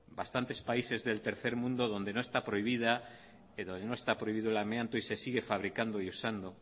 bastantes países del tercer mundo donde no está prohibido el amianto y se sigue fabricando y usando